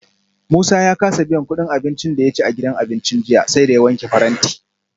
Musa ya kasa biyan kudin abincin da ya ci a gidan abincin jiya, sai da ya wanke faranti